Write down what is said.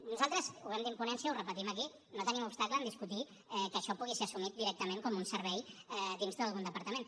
nosaltres ho vam dir en ponència ho repetim aquí no tenim obstacle en discutir que això pugui ser assumit directament com un servei dins d’algun departament